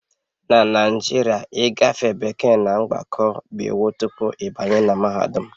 Na Naijiria ịgafe bekee na mgbakọ bụ iwu tupu ịbanye na mahadum